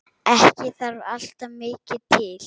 Ekki þarf alltaf mikið til.